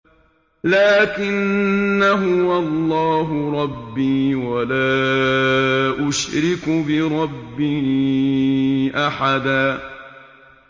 لَّٰكِنَّا هُوَ اللَّهُ رَبِّي وَلَا أُشْرِكُ بِرَبِّي أَحَدًا